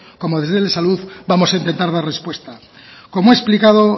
como desde el de salud vamos a empezar a dar respuesta como he explicado